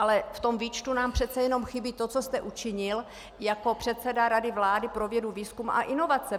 Ale v tom výčtu nám přece jenom chybí to, co jste učinil jako předseda Rady vlády pro vědu, výzkum a inovace!